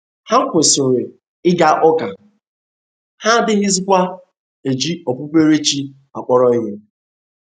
Ha kwụsịrị ịga ụka, ha adịghịzikwa eji okpukpere chi akpọrọ ihe.